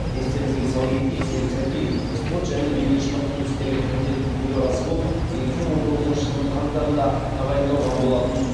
естеріңізге сала кетейік серік сәпиев спорт және дене шынықтыру істері комитетінің төрағасы болып екі мың он тоғызыншы жылдың қаңтарында тағайындалған болатын